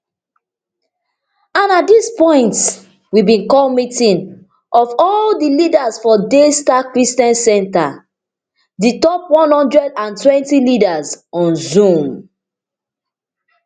and at dis point we bin call meeting of all di leaders for daystar christian center di top one hundred and twenty leaders on zoom